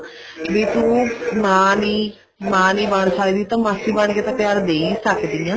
ਵੀ ਤੂੰ ਮਾਂ ਨੀ ਮਾਂ ਨੀ ਬਣ ਸਕਦੀ ਤਾਂ ਮਾਸੀ ਬਣ ਕੇ ਤਾਂ ਪਿਆਰ ਦੇ ਹੀ ਸਕਦੀ ਹਾਂ